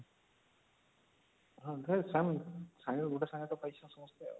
ସାଙ୍ଗରେ ଗୁଟେ ସାଙ୍ଗରେ ତ ପାଇଛନ ସମସ୍ତେ